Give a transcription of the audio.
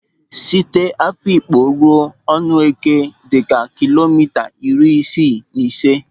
Site n'Afịkpo ruo Ọnụeke dịka kilomita iri isii na ise.